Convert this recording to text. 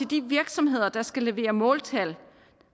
de virksomheder der skal levere måltal